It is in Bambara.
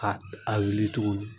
A a wuli tuguni